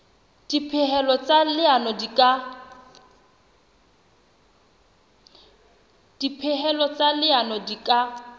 dipehelo tsa leano di ka